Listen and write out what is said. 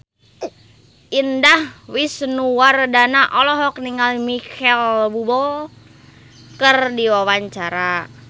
Indah Wisnuwardana olohok ningali Micheal Bubble keur diwawancara